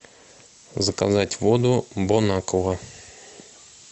заказать воду бонаква